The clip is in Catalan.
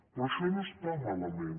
però això no està malament